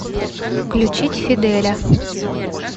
включить фиделя